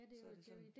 Så det sådan